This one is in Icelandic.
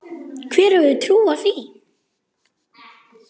Hver hefði trúað því.